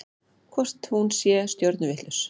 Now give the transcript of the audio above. Hvort hún sé stjörnuvitlaus?